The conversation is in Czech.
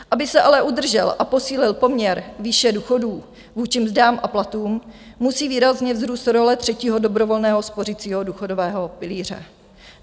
Aby se ale udržel a posílil poměr výše důchodů vůči mzdám a platům, musí výrazně vzrůst role třetího dobrovolného spořicího důchodového pilíře.